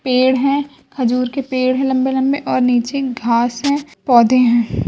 पेड़ हैं। खजूर के पेड़ हैं लम्बे-लम्बे और नीचे घास हैं पौधे हैं।